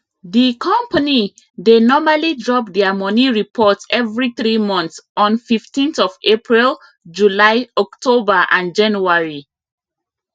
di company dey normally drop their money report every three months on 15th of april july october and january